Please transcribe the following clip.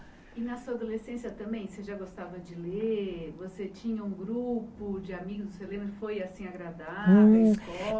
E na sua adolescência também, você já gostava de ler? Você tinha um grupo de amigos você que lembra foi assim agradável a